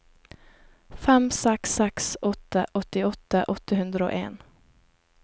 fem seks seks åtte åttiåtte åtte hundre og en